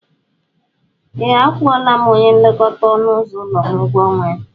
Ee, akwụla m onye nlekọta ọnụ ụzọ m ụgwọ ọnwa ya.